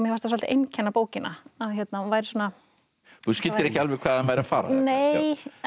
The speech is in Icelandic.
svolítið einkenna bókina að hún væri svona þú skildir ekki alveg hvað hann væri að fara nei